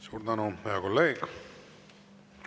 Suur tänu, hea kolleeg!